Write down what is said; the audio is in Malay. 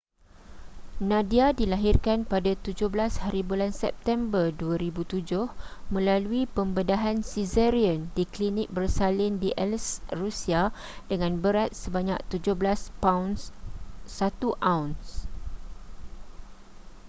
nadia dilahirkan pada 17hb september 2007 melalui pembedahan caesarean di klinik bersalin di aleisk rusia dengan berat sebanyak 17 paun 1 auns